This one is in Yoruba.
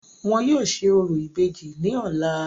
Wọn yóò ṣe orò ìbejì ní ọ̀la.